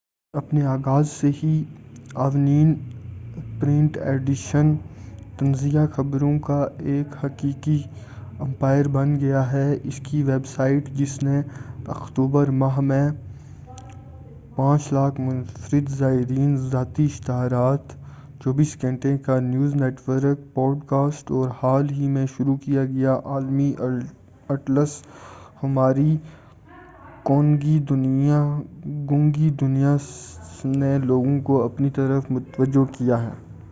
اپنے آغاز سے ہی آونین پرنٹ ایڈیشن، طنزیہ خبروں کا ایک حقیقی امپائر بن گیا ہے، اسکی ویب سائٹ جس نے اکتوبر ماہ میں 5،000،000 منفرد زائرین، ذاتی اشتہارات، 24 گھنٹے کا نیوز نیٹ ورک، پوڈکاسٹ، اور حال ہی میں شروع کیا گیا عالمی اٹلس ۔ ہماری گونگی دنیا نے لوگوں کو اپنی طرف متوجہ کیا ہے-